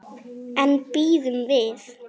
En bíðum við.